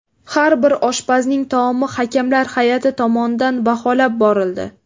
Har bir oshpazning taomi hakamlar hay’ati tomonidan baholab borildi.